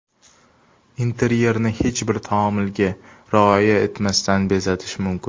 Interyerni hech bir taomilga rioya etmasdan bezatish mumkin.